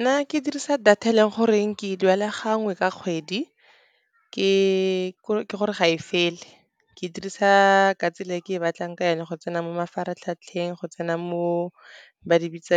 Nna ke dirisa data e leng goreng ke duela gangwe ka kgwedi. Ke gore ga e fele ke dirisa ka tsela e e ke e batlang ka yone go tsena mo mafaratlhatlheng, go tsena mo ba di bitsa